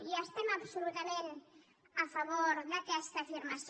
i estem absolutament a favor d’aquesta afirmació